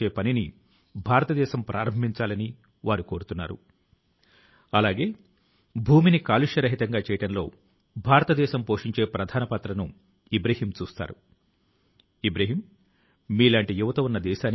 సహచరులారా ప్రతి సంవత్సరం నేను ఇటువంటి అంశాల ను గురించే విద్యార్థుల తో కలసి పరీక్షా పే చర్చా కార్యక్రమం లో పాలుపంచుకొని చర్చిస్తుంటాను